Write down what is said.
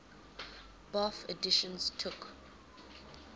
bofh editions took